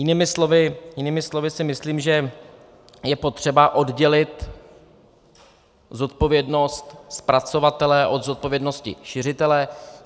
Jinými slovy si myslím, že je potřeba oddělit zodpovědnost zpracovatele od zodpovědnosti šiřitele.